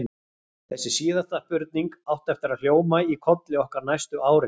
Þessi síðasta spurning átti eftir að hljóma í kolli okkar næstu árin.